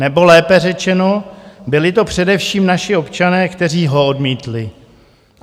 Nebo lépe řečeno, byli to především naši občané, kteří ho odmítli.